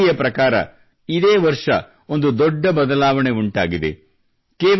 ಒಂದು ವರದಿಯ ಪ್ರಕಾರ ಇದೇ ವರ್ಷ ಒಂದು ದೊಡ್ಡ ಬದಲಾವಣೆ ಉಂಟಾಗಿದೆ